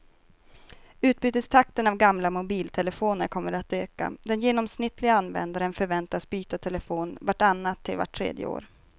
Utbytestakten av gamla mobiltelefoner kommer att öka, den genomsnittliga användaren förväntas byta telefon vart annat till vart tredje år.